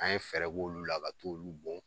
An ye fɛɛrɛ k'olu la ka t'olu bɔn.